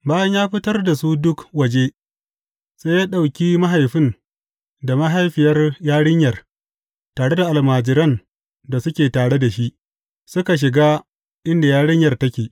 Bayan ya fitar da su duk waje, sai ya ɗauki mahaifin da mahaifiyar yarinyar tare da almajiran da suke tare da shi, suka shiga inda yarinyar take.